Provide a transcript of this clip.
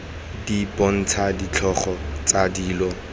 di bontsha ditlhogo tsa dilo